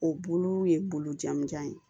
O bulu ye bulu jamujan ye